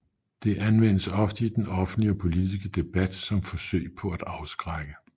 Det anvendes ofte i den offentlige og politiske debat som forsøg på at afskrække